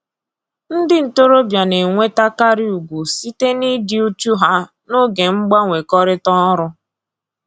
Ndị ntoroọbịa na-enwetakarị ugwu site na-ịdị uchu ha n'oge mgbanwekọrịta ọrụ